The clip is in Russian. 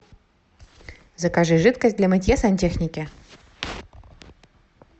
закажи жидкость для мытья сантехники